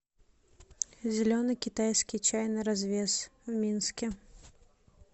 зеленый китайский чай на развес в минске